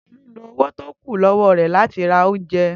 Tolu lo owo to kun lọwọ re lat i ra ounje.